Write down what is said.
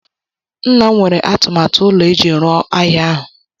Nna m nwere atụmatụ ụlọ eji rụọ ahịa ahụ